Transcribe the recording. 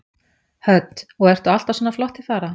Hödd: Og ertu alltaf svona flott til fara?